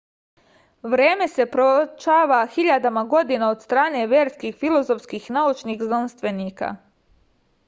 vreme se pročava hiljadama godina od strane verskih filozofskih i naučnih znanstvenika